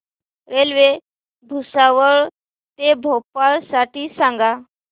railway Bhusawal ते भोपाळ साठी सांगा